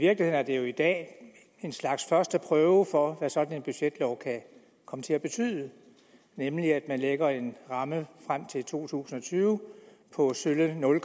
er det jo i dag en slags første prøve for hvad sådan en budgetlov kan komme til at betyde nemlig at man lægger en ramme frem til to tusind og tyve på sølle nul